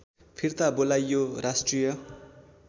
फिर्ता बोलाइयो राष्ट्रिय